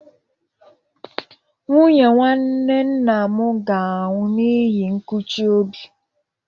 Nwunye nwanne nna m ga-anwụ n'ihi nkụchi obi.